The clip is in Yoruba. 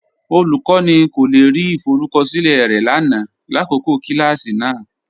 Olúkọni kò le rí ìfọrùkọṣilẹ̀ rẹ lánà làkọkọ̀ kilàsí náà.